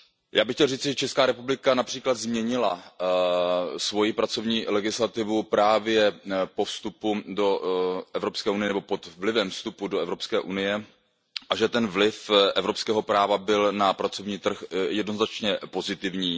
Já bych chtěl říci, že Česká republika například změnila svoji pracovní legislativu právě po vstupu do Evropské unie nebo pod vlivem vstupu do Evropské unie a že ten vliv evropského práva byl na pracovní trh jednoznačně pozitivní.